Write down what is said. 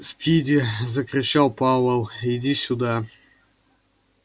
спиди закричал пауэлл иди сюда